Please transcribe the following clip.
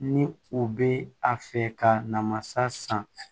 Ni u bɛ a fɛ ka na masa san